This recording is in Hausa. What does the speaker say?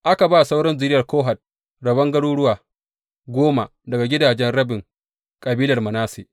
Aka ba sauran zuriyar Kohat rabon garuruwa goma daga gidajen rabin kabilar Manasse.